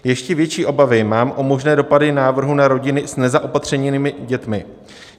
Ještě větší obavy mám o možné dopady návrhu na rodiny s nezaopatřenými dětmi.